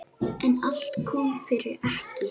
En allt kom fyrir ekki!